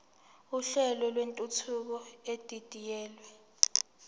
uhlelo lwentuthuko edidiyelwe